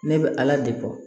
Ne bɛ ala de bɔ